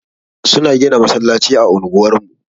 Suna gina masallaci a unguwar mu.